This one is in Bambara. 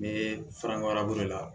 N bɛ fara ɲɔgɔn a bolo la